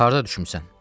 Harda düşmüsən?